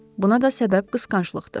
Buna da səbəb qısqanclıqdır.